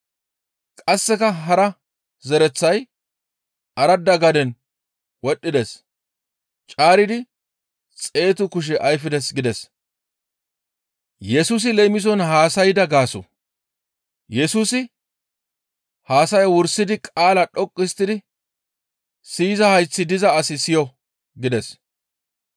Qasseka hara zereththay aradda gaden wodhdhides; caaridi xeetu kushe ayfides» gides. Yesusi Leemison Haasayda Gaaso ( Mato 13:10-17 ; Mar 4:10-12 ) Yesusi haasayaa wursidaappe guye qaala dhoqqu histtidi, «Siyiza hayththi diza asi siyo!» gides.